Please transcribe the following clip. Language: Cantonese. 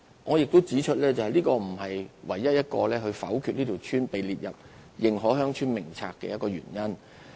我亦要指出，這並不是唯一一個否決一條村被列入《認可鄉村名冊》的原因。